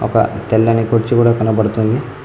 ఇంకా తెల్లని కుర్చీ కూడ కనబడుతుంది.